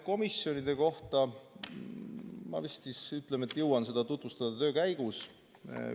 Komisjoni istungitel toimunut ma vist jõuan töö käigus tutvustada.